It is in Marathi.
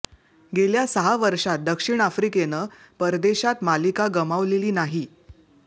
गेल्या सहा वर्षात दक्षिण आफ्रिकेनं परदेशात मालिका गमावलेली नाही